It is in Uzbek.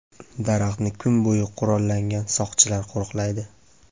Daraxtni kun bo‘yi qurollangan soqchilar qo‘riqlaydi.